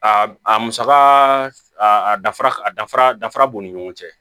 A a musaka a dafara a danfara dafara b'u ni ɲɔgɔn cɛ